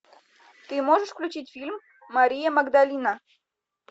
ты можешь включить фильм мария магдалина